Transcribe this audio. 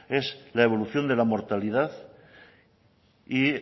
es la evolución de la mortalidad y